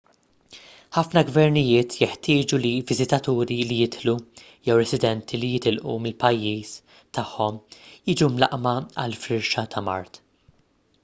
ħafna gvernijiet jeħtieġu li viżitaturi li jidħlu jew residenti li jitilqu mill-pajjiżi tagħhom jiġu mlaqqma għal firxa ta' mard